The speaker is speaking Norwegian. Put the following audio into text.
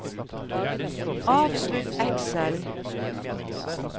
avslutt Excel